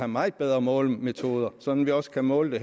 meget bedre målemetoder så vi også kan måle